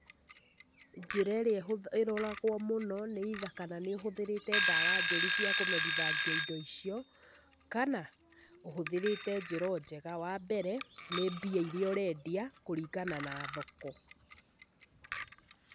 Njĩra ĩrĩa ĩhũtha, ĩroragwo mũno nĩ either kana nĩ ũhũthĩrĩte ndawa njũru cia kũmerithangia indo icio, kana ũhũthĩrĩte njĩra o njega. Wa mbere nĩ mbia iria ũrendia, kũringana na thoko.